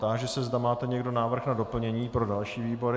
Táži se, zda máte někdo návrh na doplnění pro další výbory?